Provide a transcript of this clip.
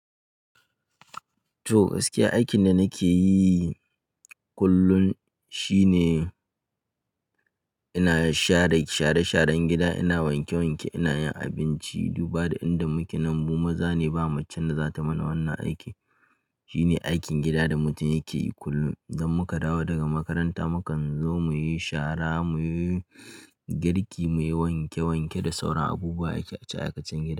Toh, gaskiya aikin da nake yi kullum shine ina share share-sharen gida, ina wanke-wanke, ina yin abinci. Duba da inda muke nan mu maza ne, ba macen da za ta mana wannan aiki. Shine aikin gida da mutum yake yi kullum. Idan muka dawo daga makaranta mukan zo muyi shara, muyi girki, muyi wanke-wanke da sauran abubuwa aikace-aikacen a cikin gida.